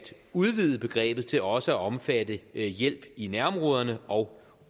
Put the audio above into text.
udvide begrebet til også at omfatte hjælp i nærområderne og